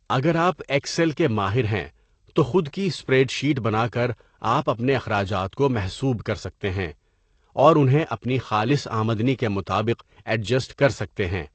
اگر آپ ایکسل کے ماہر ہیں تو خود کی اسپریڈشیٹ بنا کر آپ اپنے اخراجات کو محسوب کر سکتے ہیں اور انہیں اپنی خالص آمدنی کے مطابق ایڈجسٹ کر سکتے ہیں۔